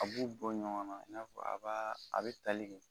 A b'u bɔ ɲɔgɔnna i n'a fɔ a b'a a bɛ tali kɛ.